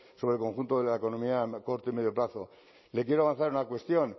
sobre el conjunto de la economía a corto y medio plazo le quiero avanzar en una cuestión